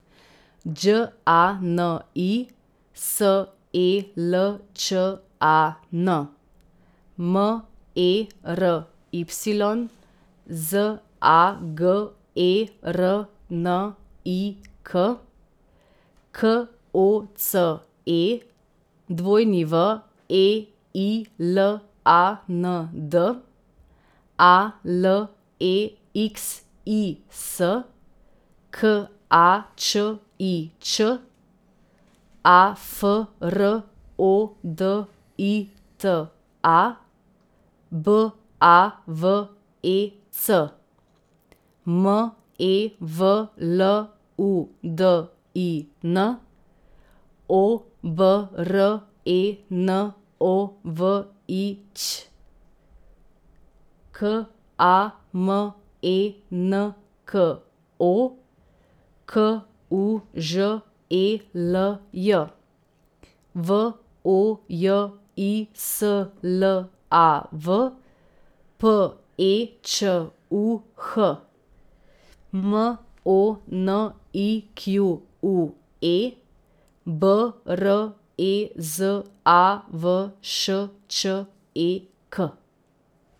Đ A N I, S E L Č A N; M E R Y, Z A G E R N I K; K O C E, W E I L A N D; A L E X I S, K A Č I Č; A F R O D I T A, B A V E C; M E V L U D I N, O B R E N O V I Ć; K A M E N K O, K U Ž E L J; V O J I S L A V, P E Č U H; M O N I Q U E, B R E Z A V Š Č E K.